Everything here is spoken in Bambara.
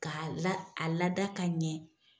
k'a k'a lada ka ɲɛ.